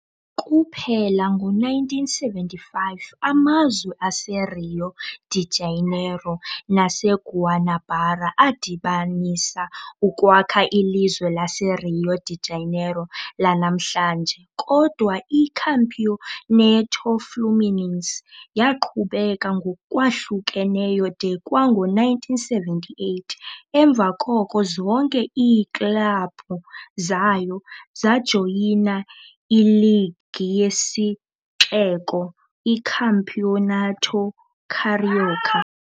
Kuphela ngo-1975 amazwe aseRio de Janeiro naseGuanabara adibanisa ukwakha ilizwe laseRio de Janeiro lanamhlanje, kodwa iCampeonato Fluminense yaqhubeka ngokwahlukeneyo de kwango-1978, emva koko zonke iiklabhu zayo zajoyina iligi yesixeko, iCampeonato Carioca.